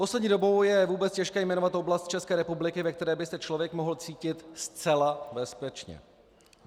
Poslední dobou je vůbec těžké jmenovat oblast České republiky, ve které by se člověk mohl cítit zcela bezpečně.